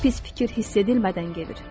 Bir pis fikir hiss edilmədən gedir.